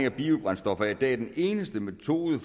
af biobrændstoffer er i dag den eneste metode